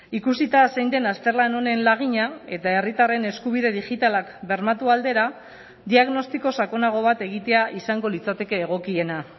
ikusita zein den azterlan honen lagina eta herritarren eskubide digitalak bermatu aldera diagnostiko sakonago bat egitea izango litzateke egokiena